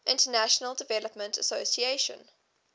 international development association